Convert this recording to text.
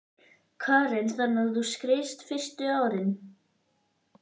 Karen: Þannig að þú skreiðst fyrstu árin?